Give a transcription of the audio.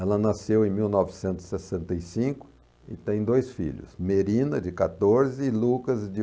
Ela nasceu em mil novecentos e sessenta e cinco e tem dois filhos, Merina, de quatorze, e Lucas, de